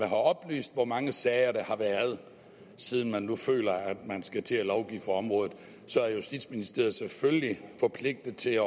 oplyst hvor mange sager der har været siden man nu føler at man skal til at lovgive for området så er justitsministeriet selvfølgelig forpligtet til at